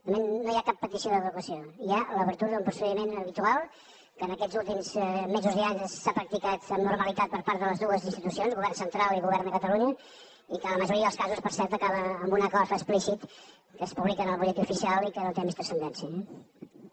de moment no hi ha cap petició d’adequació hi ha l’obertura d’un procediment habitual que en aquests últims mesos i anys s’ha practicat amb normalitat per part de les dues institucions govern central i govern de catalunya i que en la majoria dels casos per cert acaba amb un acord explícit que es publica en el butlletí oficial i que no té més transcendència eh